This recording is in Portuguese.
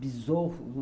bisovo.